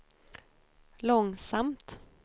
långsamt